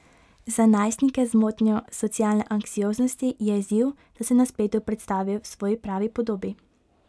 Za najstnike z motnjo socialne anksioznosti je izziv, da se na spletu predstavijo v svoji pravi podobi.